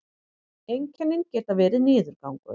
einkennin geta verið niðurgangur